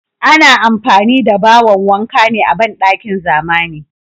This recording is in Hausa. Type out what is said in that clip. Ana amfani da bawon wanka ne a bandakin zamani.